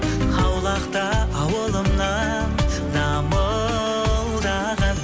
аулақта ауылымнан дамылдаған